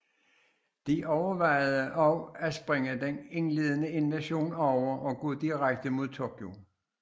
De overvejede også at springe den indledende invasion over og gå direkte mod Tokyo